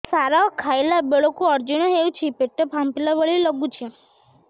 ସାର ଖାଇଲା ବେଳକୁ ଅଜିର୍ଣ ହେଉଛି ପେଟ ଫାମ୍ପିଲା ଭଳି ଲଗୁଛି